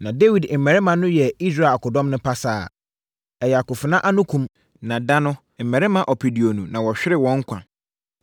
Na Dawid mmarima no yɛɛ Israel akodɔm no pasaa. Ɛyɛ akofena ano kum, na da no, mmarima ɔpeduonu na wɔhweree wɔn nkwa.